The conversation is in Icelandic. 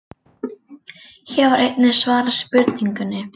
Hér var einnig svarað spurningunni: